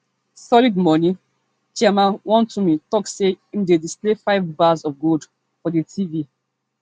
solid moni chairman wontumi tok as im dey display five bars of gold for di tv